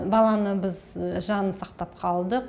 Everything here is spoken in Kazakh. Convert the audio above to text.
баланы біз жанын сақтап қалдық